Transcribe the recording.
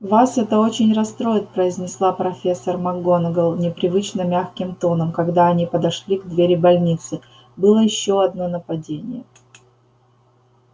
вас это очень расстроит произнесла профессор макгонагалл непривычно мягким тоном когда они подошли к двери больницы было ещё одно нападение